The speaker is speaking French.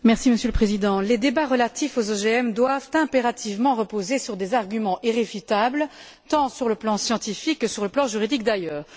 Monsieur le Président, les débats relatifs aux OGM doivent impérativement reposer sur des arguments irréfutables tant sur le plan scientifique que sur le plan juridique, d'ailleurs.